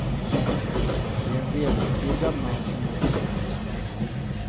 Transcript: Det är en välutbildad man som återvänder.